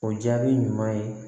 O jaabi ɲuman ye